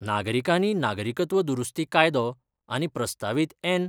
नागरिकानी नागरिकत्व दुरुस्ती कायदो आनी प्रस्तावित एन.